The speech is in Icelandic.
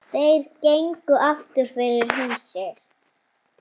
Þeir gengu aftur fyrir húsið.